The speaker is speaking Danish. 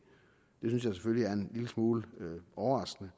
synes jeg selvfølgelig er en lille smule overraskende